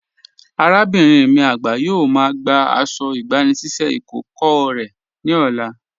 Arábinrin mi agba yóò má gbà àṣọ̀ ìgbànisíṣẹ̀ ikókọ̀ rẹ ni ọ̀là.